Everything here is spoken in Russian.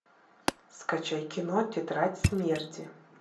скачай кино тетрадь смерти